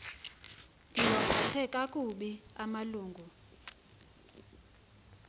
ndiwaphathe kakubi amalungu